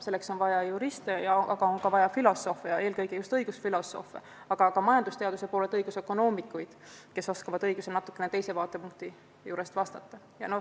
Selleks on vaja juriste, aga ka filosoofe, eelkõige just õigusfilosoofe, samuti majandusteaduse poolelt õigusökonoomikuid, kes oskavad õigusi natukene teisest vaatepunktist analüüsida.